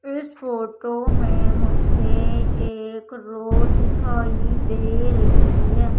इस फोटो में मुझे एक रोड दिखाई दे रही है।